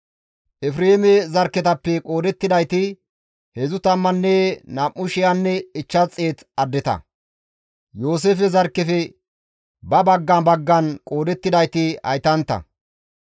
Efreeme zarkketappe qoodettidayti 32,500 addeta; Yooseefe zarkkefe ba baggan baggan qoodettidayti haytantta.